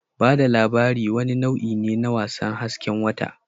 Ba da labari wani nau'i ne na wasan hasken wata